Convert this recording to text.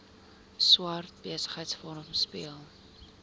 swart besigheidsforum speel